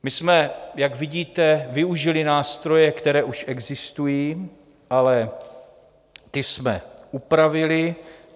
My jsme, jak vidíte, využili nástroje, které už existují, ale ty jsme upravili.